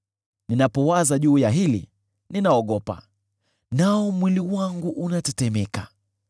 Ninapowaza juu ya hili, ninaogopa, nao mwili wangu unatetemeka.